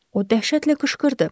O dəhşətlə qışqırdı.